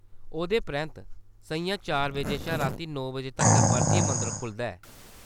ओह्‌‌‌दे परैंत्त, सʼञां चार बजे शा राती नौ बजे तक्कर परतियै मंदर खु'लदा ऐ।